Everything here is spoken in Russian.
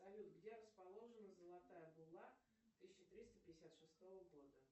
салют где расположена золотая булла тысяча триста пятьдесят шестого года